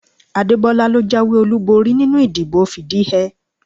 Adebola ló jáwé olúborí nínú ìdìbò fìdíhẹẹ́